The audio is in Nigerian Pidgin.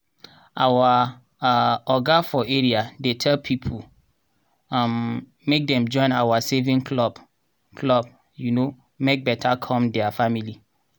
our um oga for area dey tell people um make dem join our saving club club um make beta come diir family.